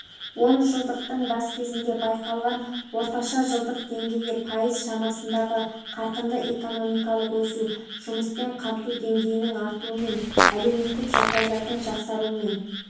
онжылдықтың бас кезінде байқалған орташа жылдық деңгейі пайыз шамасындағы қарқынды экономикалық өсу жұмыспен қамту деңгейінің артуымен әлеуметтік жағдайлардың жақсаруымен